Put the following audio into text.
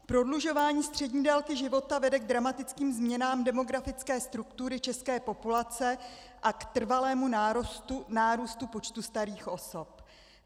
Prodlužování střední délky života vede k dramatickým změnám demografické struktury české populace a k trvalému nárůstu počtu starých osob.